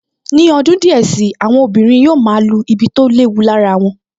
Ní ọdún díẹ̀ sí i, àwọn obìnrin yóò máa lu ibi tó léwu lára wọn